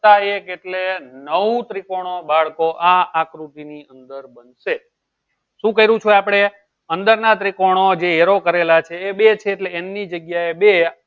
વત્તા એક એટલે નવ ત્રીકોનો બાળકો આ આકૃતિ ની અંદર બનશે શું ક્રેસું આપળે અંદર ના ત્રીકોનો જે arrow કરેલા છે એ બે છે એટલે n ની જગ્યાએ બે